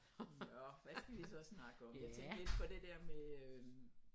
Nåh hvad skal vi så snakke om jeg tænkte lidt på det der med øh